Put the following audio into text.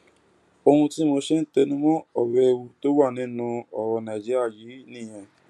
ohun tí mo ṣe ń tẹnu mọ ọrọ ewu tó wà nínú ọrọ nàìjíríà yìí nìyẹn